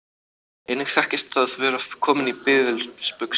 Einnig þekkist að vera kominn í biðilsbuxurnar.